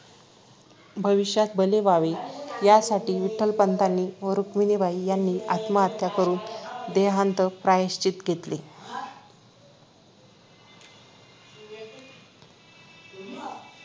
भविष्यातील भले व्हावे यासाठी विठ्ठलपंतांनी व रुक्मिणीबाई यांनी आत्महत्या करून देहांन्त प्रायश्चित घेतले